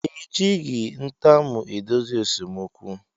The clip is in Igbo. Ejighi ntamu edozi esemokwu